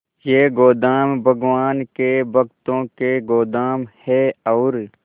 ये गोदाम भगवान के भक्तों के गोदाम है और